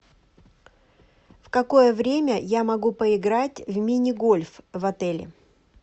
в какое время я могу поиграть в мини гольф в отеле